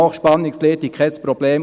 Hochspannungsleitung, kein Problem.